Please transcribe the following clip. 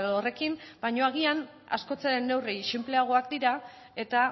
horrekin baino agian askoz ere neurri sinpleagoak dira eta